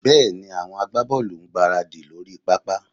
Bẹ́ẹ̀ni, àwọn agbábọ́ọ̀lù ń gbáradì lórí pápá